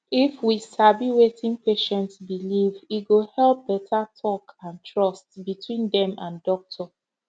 if we sabi wetin patient believe e go help better talk and trust between dem and doctor